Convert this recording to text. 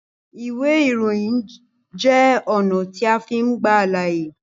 Iwe iroyin jẹ ọna ti a fin gba alaye